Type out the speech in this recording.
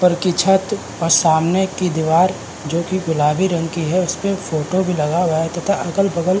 ऊपर की छत और सामने की दिवार जो कि गुलाबी रंग की है उस पे एक फ़ोटो भी लगा हुआ है तथा अगल बगल --